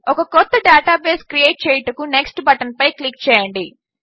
ఒక కొత్త database create చేయుటకు నెక్స్ట్ బటన్పై క్లిక్ చేయండి